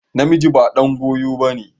Namiji ba ɗan goyo ba ne.